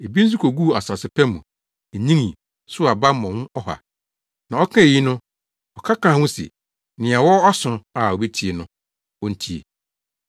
Ebi nso koguu asase pa mu, enyinii, sow aba mmɔho ɔha.” Na ɔkaa eyi no, ɔka kaa ho se, “Nea ɔwɔ aso a obetie no, ontie.”